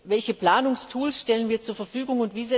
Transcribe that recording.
Welche Planungstools stellen wir zur Verfügung?